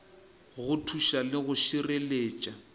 go thuša le go šireletša